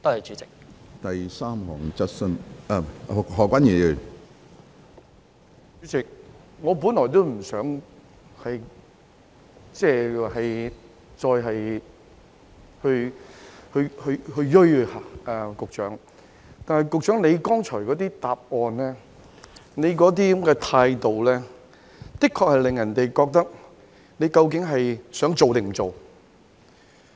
主席，我本來不想再錐着局長，但局長剛才的答覆和態度，的確令人覺得他究竟是想做還是不想做。